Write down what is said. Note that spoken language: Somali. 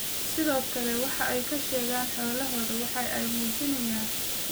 Sidoo kale, waxa ay ka sheegaan xoolahooda waxa ay muujinayaan muhiimadda ay leedahay adeegyada caafimaad.